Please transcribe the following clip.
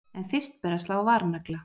En fyrst ber að slá varnagla.